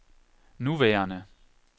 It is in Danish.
nuværende